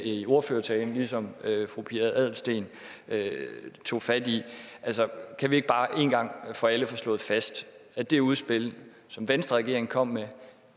i ordførertalen ligesom fru pia adelsteen tog fat i kan vi ikke bare en gang for alle få slået fast at det udspil som venstreregeringen kom med